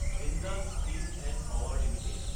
Jindal steel & power Ltd